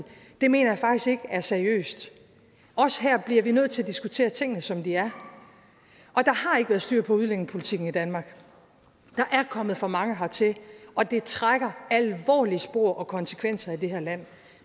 det mener jeg faktisk ikke er seriøst også her bliver vi nødt til at diskutere tingene som og der har ikke været styr på udlændingepolitikken i danmark der er kommet for mange hertil og det trækker alvorlige spor og konsekvenser i det her land